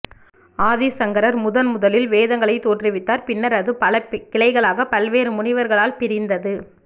ஆதி சங்கரர் முதன் முதலில் வேதங்களை தோற்றுவித்தார் பின்னர் அது பல கிளைகளாக பல்வேறு முனிவர்களால் பிரிந்தது